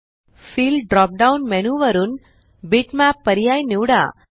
fill drop down menu वरुन bitmap पर्याय निवडा